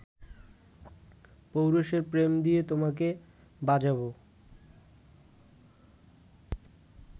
পৌরুষের প্রেম দিয়ে তোমাকে বাজাবো